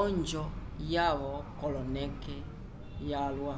onjo yavo koloneke vyalwa